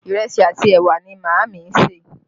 Ìrẹsì àti ẹwà ni Maami ń ṣe